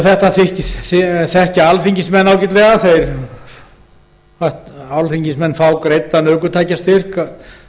ég veit að þetta þekkja alþingismenn ágætlega þeir fá greiddan ökutækjastyrk